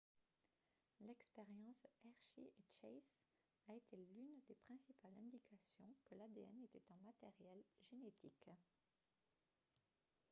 l'expérience hershey et chase a été l'une des principales indications que l'adn était un matériel génétique